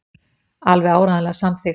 Alveg áreiðanlega samþykkt.